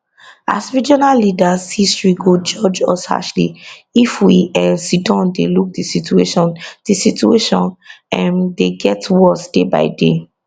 as regional leaders history go judge us harshly if we um sidon dey look di situation di situation um dey get worse day by day